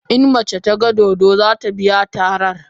In mace ta gan dodo, za ta biya tarar.